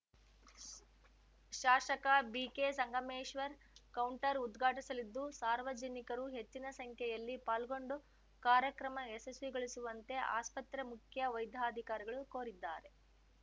ಶಾಸಕ BK Sangameshwar counter ಉದ್ಘಾಟಿಸಲಿದ್ದು ಸಾರ್ವಜನಿಕರು ಹೆಚ್ಚಿನ ಸಂಖ್ಯೆಯಲ್ಲಿ ಪಾಲ್ಗೊಂಡು ಕಾರ್ಯಕ್ರಮ ಯಶಸ್ವಿಗೊಳಿಸುವಂತೆ ಆಸ್ಪತ್ರೆ ಮುಖ್ಯ ವೈದ್ಯಾಧಿಕಾರಿಗಳು ಕೋರಿದ್ದಾರೆ